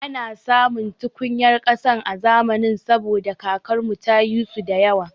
Ana samun tukunyar ƙasa a zamanin saboda kakar mu ta yi su da yawa